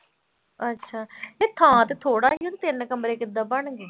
ਅੱਛਾ ਨਹੀਂ ਥਾਂ ਤੇ ਥੋੜ੍ਹਾ ਹੀ ਆ, ਤਿੰਨ ਕਮਰੇ ਕਿੱਦਾਂ ਬਣ ਗਏ।